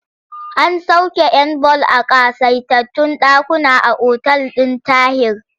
An sauƙe 'yan ball a ƙasaitattun ɗakuna a otal ɗin Tahir.